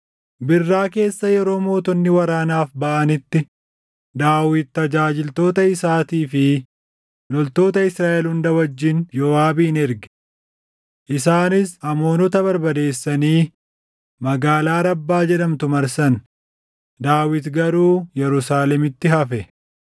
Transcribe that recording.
Birraa keessa yeroo mootonni waraanaaf baʼanitti, Daawit tajaajiltoota isaatii fi loltoota Israaʼel hunda wajjin Yooʼaabin erge. Isaanis Amoonota barbadeessanii magaalaa Rabbaa jedhamtu marsan. Daawit garuu Yerusaalemitti hafe.